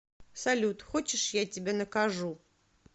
салют хочешь я тебя накажу